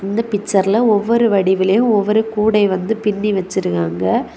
இந்த பிக்சர்ல ஒவ்வொரு வடிவிலும் ஒவ்வொரு கூடைய பின்னி வெச்சிருக்காங்க.